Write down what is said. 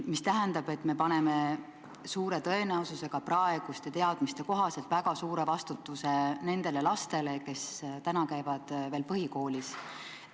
Mis tähendab, et praeguste teadmiste kohaselt me paneme suure tõenäosusega väga suure vastutuse nendele lastele, kes täna käivad veel põhikoolis.